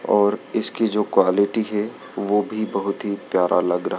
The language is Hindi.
और इसकी जो क्वालिटी है वो भी बहोत प्यारा लग रहा--